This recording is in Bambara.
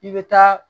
I bɛ taa